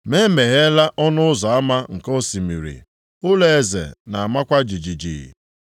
Ma e megheela ọnụ ụzọ ama nke osimiri, ụlọeze na-amakwa jijiji.